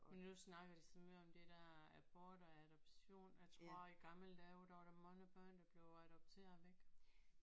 Men nu snakker de så meget om det der abort og adoption og jeg tror i gamle dage der var der mange børn der blev adopteret væk